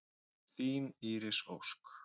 Þín Íris Ósk.